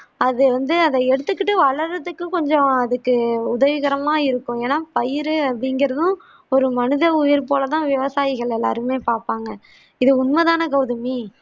அத வந்து அதை எடுத்துக்கிட்டு வழறதுக்கு கொஞ்சம் அதுக்கு உதவிகரமாக இருக்கும் ஏன்னா பயிறு அப்படி என்கிறதும் ஒரு மனித உயிர் போல தான் விவசாயிகள் எல்லாருமே பார்ப்பாங்க இது உண்மைதானே கௌதமி